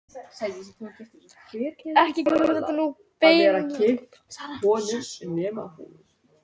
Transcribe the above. Ekki kemur þetta nú beinlínis saman og heim við uppburðarleysið í fyrri frásögnum af vettvangi.